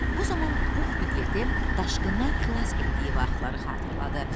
Bu zaman Pux Piqleti daşqından xilas etdiyi vaxtları xatırladı.